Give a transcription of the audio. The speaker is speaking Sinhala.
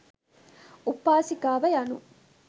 උපාසිකාව යනු